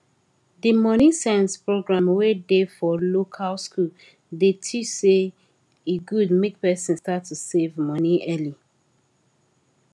di moneysense program wey dey for local school dey teach say e good make person start to save money early